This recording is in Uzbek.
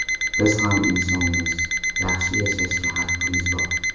Biz ham insonmiz, yaxshi yashashga haqimiz bor.